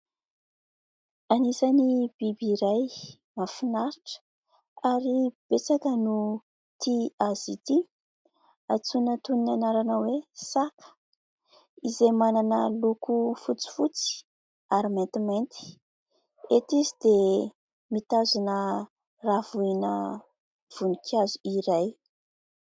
Anisan'ny biby iray mahafinaritra ary betsaka no tia azy ity, antsoina toy ny anarana hoe " saka " izay manana loko fotsifotsy ary maintimainty, eto izy dia mitazona ravina voninkazo iray.